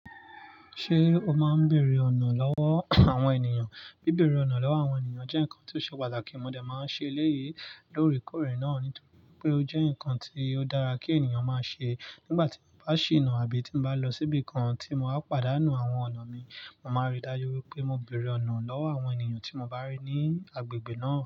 Ṣé o máa ń bèrè ọ̀nà lọ́wọ́ àwọn ènìyàn? Bí bẹ̀rẹ̀ ọ̀nà lọ́wọ́ àwọn ènìyàn jẹ́ nǹkan tí ó ṣe pàtàkì. Mo dà máa ń ṣe eléyìí lórí kòrè náà nítorí pé ó jẹ́ ǹkan tí ó dára kí ènìyàn máa ṣe nígbà tí bá ṣe ina àbí tí bá lọ síbi kan tí mo bá pàdánù àwọn ọ̀nà mi. Mo máa rí dájú pé mo bèrè ọ̀nà lọ́wọ́ àwọn ènìyàn tí mo bá rí ní agbègbè náà.